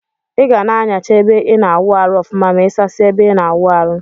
Iga na anyacha ebe ina awụ arụ ọfụma ma isasie ebe ina awụ amrụ.